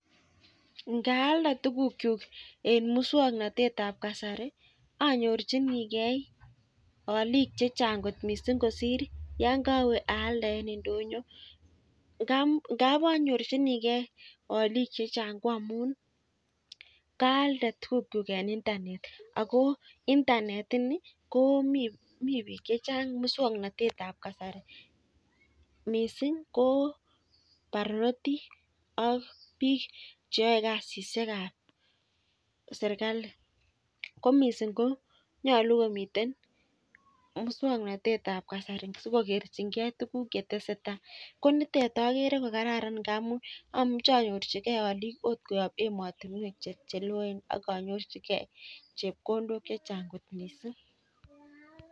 Ngaalde tukukchu eng muswagnatet ab kasari anyorchinigei olik checha'gkot kosir yo kowe aalde eng ndonyo. Ngap anyorchinigei olik checha'g ko amun kaalde tukukchuk eng internet ako internet ini komi biik chechan'g muswagnatetab kasari. Mising ko barnotik ak biik che yaei kasisiekab serkali. Ko mising ko nyolu komi muswagnatetab kasari sikokerchingei tukuk chetesetai. Ko nitet agere ko kararan ngamun amuche anyorchikei olik akot koyop ematinwek cheloen ak anyorchigei chepkondok chechan'g.